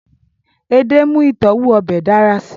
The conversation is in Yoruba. ede mu itọwo obe dara si